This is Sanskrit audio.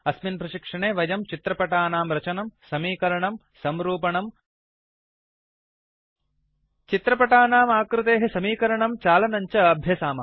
अस्मिन् प्रशिक्षणे वयम् चित्रपटानां रचनं समीकरणं संरूपणं फार्मेटिंग् चित्रपटानाम् आकृतेः समीकरणं चालनं च अभ्यसामः